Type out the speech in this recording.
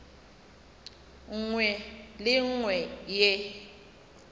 nngwe le ye nngwe ye